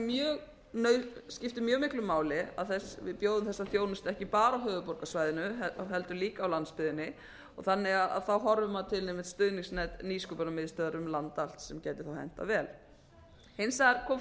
mjög nauðsynlegt skipti mjög miklu máli að við bjóðum þetta þjónustu ekki bara á höfuðborgarsvæðinu og heldur líka á landsbyggðinni þannig að maður horfir til einmitt stuðningsnets nýsköpunarmiðstöðvar um land allt sem gæti hentað vel hins vegar kom